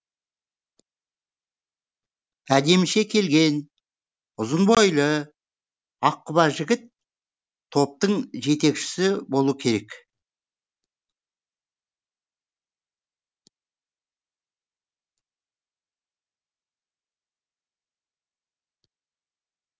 әдеміше келген ұзын бойлы ақ құба жігіт топтың жетекшісі болу керек